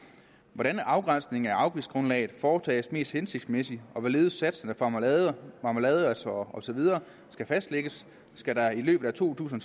hvordan afgrænsningen af afgiftsgrundlaget foretages mest hensigtsmæssigt og hvorledes satserne for marmelade marmelade og så videre skal fastlægges skal der i to tusind